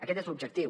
aquest és l’objectiu